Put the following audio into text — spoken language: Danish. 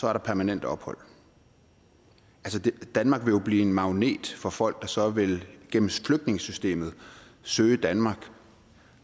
er der permanent ophold danmark vil jo blive en magnet for folk der så vil søge danmark